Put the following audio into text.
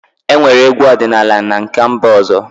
Enwere egwu ọdịnala na nke mba ọzọ